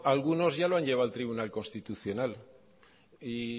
algunos ya lo han llevado al tribunal constitucional y